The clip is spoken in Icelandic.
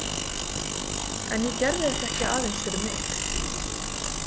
En ég gerði þetta ekki aðeins fyrir mig.